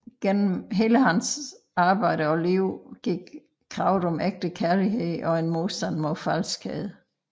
Gennem hele hendes arbejde og liv går kravet om ægte kærlighed og en modstand mod falskhed